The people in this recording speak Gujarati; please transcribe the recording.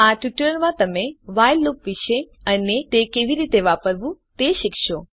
આ ટ્યુટોરીયલ માં તમે વ્હાઇલ લૂપ વિષે અને તે કેવી રીતે વાપરવું તે વિષે શીખશો